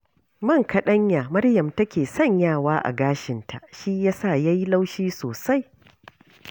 Man kaɗanya Maryam take sanyawa a gashinta, shi ya sa ya yi laushi sosai